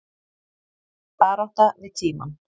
Barátta við tímann